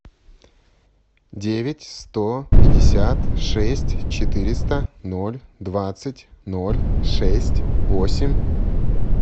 девять сто пятьдесят шесть четыреста ноль двадцать ноль шесть восемь